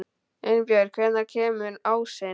Einbjörg, hvenær kemur ásinn?